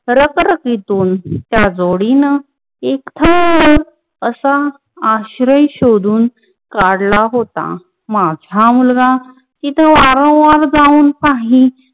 रकराकीतून त्या जोडीन एकदा असा आश्रय शोधून काडला होता. माझा मुलगा हित वारवार जाऊन पा ही